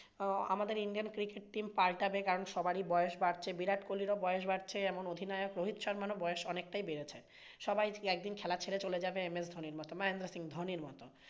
আমাদের Indian cricket team পাল্টাবে কারণ সবারই বয়স বাড়ছে, বিরাট কোহলিরও বয়স বাড়ছে, অধিনায়ক রোহিত শর্মারও বয়স অনেকটাই বেড়েছে। সবাই একদিন খেলা ছেড়ে চলে যাবে MS ধোনির মতো, মহেন্দ্র সিং ধোনির মতো।